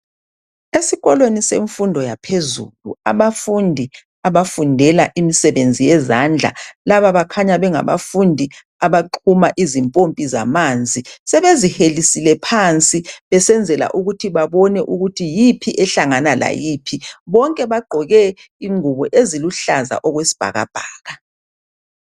Esikolweni semfundo yaphezulu abafundi abafundela imisebenzi yezandla laba bakhanya bengabafundi abaxhuma izimpompi zamanzi. Sebezihelisile phansi besenzela ukuthi babone ukuthi yiphi ehlangana layiphi. Bonke bagqoke ingubo eziluhlaza okwesibhakabhaka.